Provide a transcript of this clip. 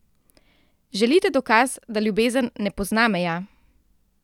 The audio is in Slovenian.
Želite dokaz, da ljubezen ne pozna meja?